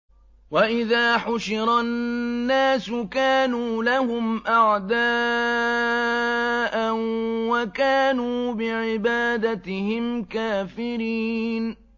وَإِذَا حُشِرَ النَّاسُ كَانُوا لَهُمْ أَعْدَاءً وَكَانُوا بِعِبَادَتِهِمْ كَافِرِينَ